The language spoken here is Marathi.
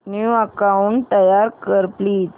न्यू अकाऊंट तयार कर प्लीज